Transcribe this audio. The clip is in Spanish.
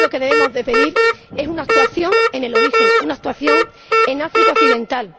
lo que debemos pedir es una actuación en el origen, una actuación en África Occidental.